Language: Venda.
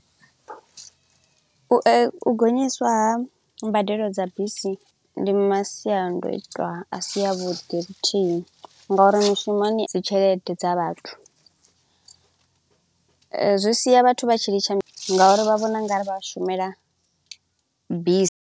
U u gonyiswa ha mbadelo dza bisi ndi masiandoitwa a si avhuḓi luthihi nga uri mushumoni dzi tshelede dza vhathu. Zwi sia vhathu vha tshi litsha nga uri vha vhona u nga ri vha shumela bisi.